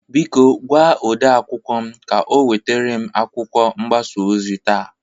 Biko gwa ode akwụkwọ m ka o nweterem akwụkwọ mgbasa ozi taa.